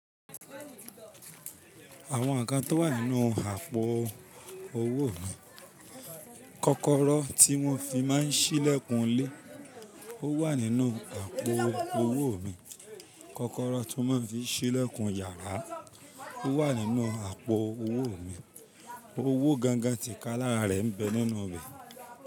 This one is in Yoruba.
Àwọn inkan to wà nínú àpò owó mi, kọ́kọ́rọ́ tí wọ́n fi máa ń sílẹ̀kùn ilé, ó wà nínú àpò owó mi. Kọ́kọ́rọ́ ti won máa ń fi sílẹ̀kùn yàrá, ó wà nínú àpò owó mi. Owó gangan ti ká lára rẹ̀ ń bẹ nínú rẹ̀.